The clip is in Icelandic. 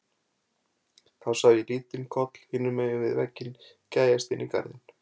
Þá sá ég lítinn koll hinum megin við vegginn gægjast inn í garðinn.